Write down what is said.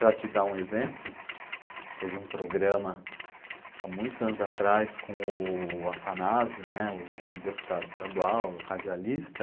Para te dar um exemplo, teve um programa há muitos anos atrás com o Afanásio, o o deputado estadual, o radialista,